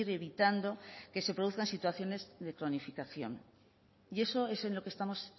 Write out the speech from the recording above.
evitando que se produzcan situaciones de cronificación y eso es en lo que estamos